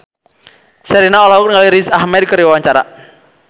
Sherina olohok ningali Riz Ahmed keur diwawancara